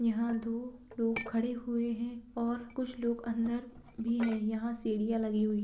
यहाँ दो लोग खड़े हुए है और कुछ लोग अंदर भी है यहाँ सीढ़िया लगी हुई --